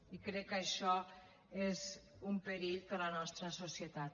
i crec que això és un perill per a la nostra societat